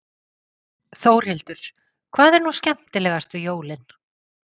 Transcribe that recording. Þórhildur: Hvað er nú skemmtilegast við jólin?